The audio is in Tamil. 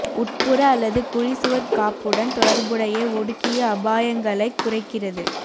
உட்புற அல்லது குழி சுவர் காப்புடன் தொடர்புடைய ஒடுக்கிய அபாயங்களைக் குறைக்கிறது